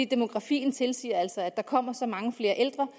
demografien tilsiger altså at der kommer så mange flere